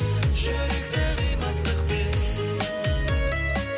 жүректе қимастықпен